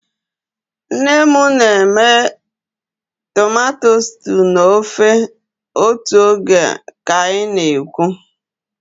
Nne m na-eme tomato stew na ofe otu oge ka anyị na-ekwu.